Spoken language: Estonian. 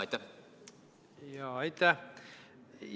Aitäh!